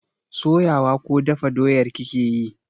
Soya wa ko dafa doyar kake yi?